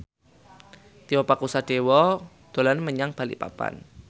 Tio Pakusadewo dolan menyang Balikpapan